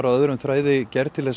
öðrum þræði gerð til